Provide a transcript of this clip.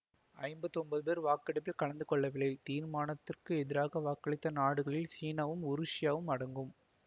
ஐம்பத்தி ஒன்பது பேர் வாக்கெடுப்பில் கலந்து கொள்ளவில்லை தீர்மானத்திற்க்கு எதிராக வாக்களித்த நாடுகளில் சீனாவும் உருசியாவும் அடங்கும்